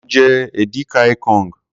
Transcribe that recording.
Mo jẹ edi ka ikong.